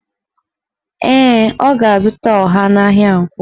Ee, o ga-azụta ọha n'ahịa Nkwọ